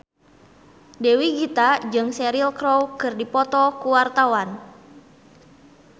Dewi Gita jeung Cheryl Crow keur dipoto ku wartawan